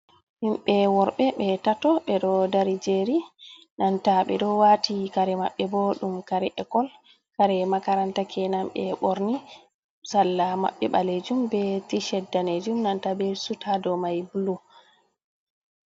Himɓe worɓe ɓe tato, ɓe ɗo dari jeri e nanta ɓe ɗo wati kare maɓɓe bo ɗum kare ekol kare makaranta ke nan be borni. salla mabbe balejum be ti shet danejum e nanta be sut hado mai bulu.